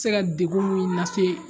Se ka degun min nase